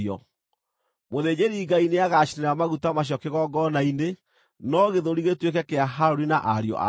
Mũthĩnjĩri-Ngai nĩagaacinĩra maguta macio kĩgongona-inĩ, no gĩthũri gĩtuĩke kĩa Harũni na ariũ ake.